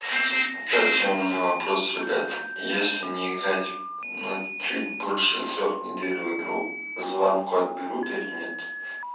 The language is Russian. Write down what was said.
кстати у меня вопрос ребята если не играть но чуть больше трёх недель в игру звание отберут или нет